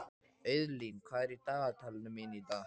Auðlín, hvað er í dagatalinu mínu í dag?